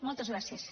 moltes gràcies